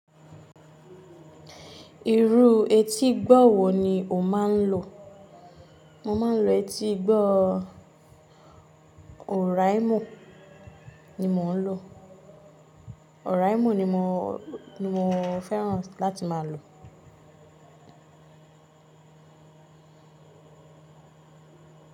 Irú etígbọ̀ wò ni o má n lo? Mo ma n lo etígbọ́ oraimo ni mò n lo. Oraimo ni mo, ni mo fẹ́ràn láti ma lo.